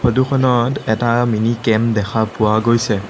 ফটোখনত এটা mini camp দেখা পোৱা গৈছে।